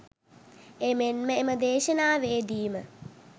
එමෙන්ම එම දේශනාවේදීම